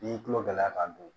N'i tulo gɛlɛya k'a don